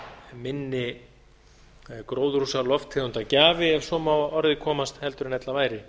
minni gróðurhúsalofttegundagjafi ef svo má að orði komast heldur en ella væri